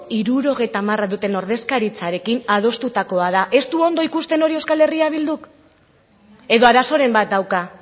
hirurogeita hamara duten ordezkaritzarekin adostutakoa da ez du ondo ikusten hori euskal herria bilduk edo arazoren bat dauka